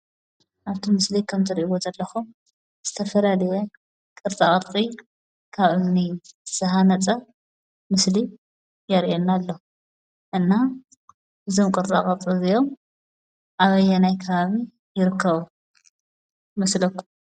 ኣብቲ ምስሊ ከም እትርእይዎ ዘለኩም ዝተፈላለየ ቕርፃ ቕርፂ ካብ እምኒ ዝተሃነፀ ምስሊ የርእየና ኣሎ። እና እዞም ቕርፃ ቕርፂ እዚይኦም ኣበየናይ ከባቢ ይርከቡ ይመስለኩም?